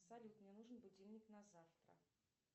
салют мне нужен будильник на завтра